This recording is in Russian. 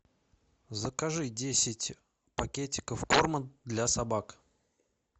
закажи десять пакетиков корма для собак